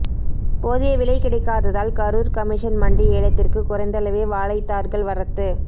போதியவிலை கிடைக்காததால் கரூர் கமிஷன் மண்டி ஏலத்திற்கு குறைந்தளவே வாழைத்தார்கள் வரத்து